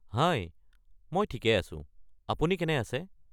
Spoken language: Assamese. হাই, মই ঠিকেই আছোঁ। আপুনি কেনে আছে?